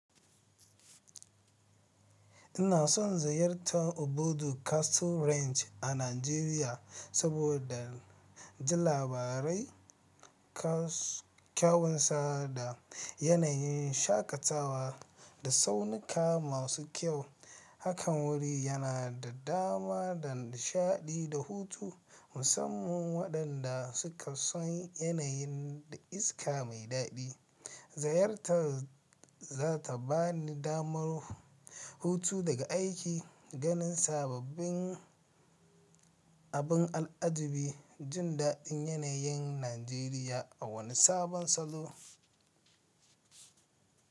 Ina son ziyartar Obudu Cattle Ranch a Najeriya saboda ji labarai kyawunsa da yanayin shakatawa da tsaunuka masu kyau. Hakan wuri yana da dama da nishaɗi da hutu, musamman waɗanda suka so yanayin da iska mai daɗi. Ziyartar za ta bani damar hutu daga aiki, ganin sababbin abin al'ajabi, jin daɗin yanayin Najeriya a wani sabon salo.